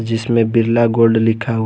जिसमें बिरला गोल्ड लिखा हुआ--